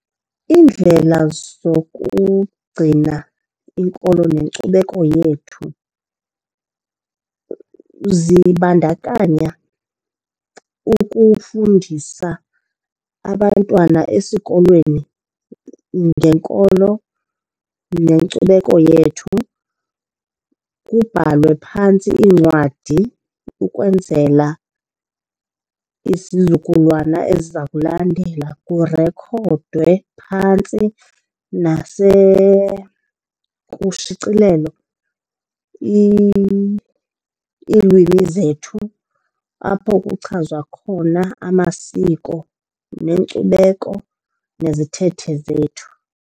Iindlela zokugcina inkolo nenkcubeko yethu zibandakanya ukufundisa abantwana esikolweni ngenkolo nenkcubeko yethu. Kubhalwe phantsi iincwadi ukwenzela isizukulwana eziza kulandela. Kurekhodwe phantsi kushicilelo iilwimi zethu, apho kuchazwa khona amasiko, nenkcubeko nezithethe zethu.